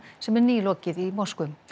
sem er nýlokið í Moskvu